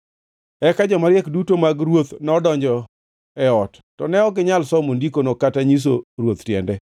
Eka jomariek duto mag ruoth nodonjo e ot, to ne ok ginyal somo ndikono kata nyiso ruoth tiende.